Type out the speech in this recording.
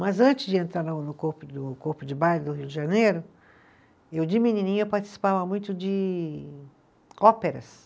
Mas antes de entrar na no corpo do, Corpo de Baile do Rio de Janeiro, eu de menininha participava muito de óperas.